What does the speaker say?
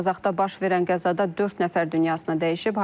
Qazaxda baş verən qəzada dörd nəfər dünyasını dəyişib.